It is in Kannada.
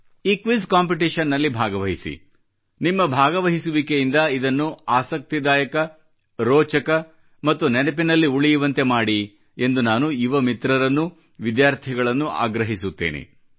ಈ ಕ್ವಿಜ್ ಕಾಂಪಿಟಿಷನ್ ನಲ್ಲಿ ಭಾಗವಹಿಸಿ ನಿಮ್ಮ ಭಾಗವಹಿಸುವಿಕೆಯಿಂದ ಇದನ್ನು ಆಸಕ್ತಿದಾಯಕ ರೋಚಕ ಮತ್ತು ನೆನಪಿನಲ್ಲಿ ಉಳಿಯುವಂತೆ ಮಾಡಿ ಎಂದು ನಾನು ಯುವ ಮಿತ್ರರನ್ನೂ ವಿದ್ಯಾರ್ಥಿಗಳನ್ನೂ ಆಗ್ರಹಿಸುತ್ತೇನೆ